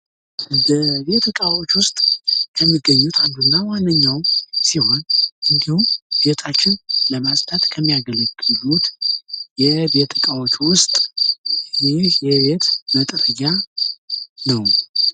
በቤት እቃዎች ውስጥ ከሚገኙት አንዱና ዋነኛው ሲሆን እንዲሁም ቤታችን ለማፅዳት ከሚያገለግሉት ውስጥ ይህ የቤት መጥረጊያ ነው።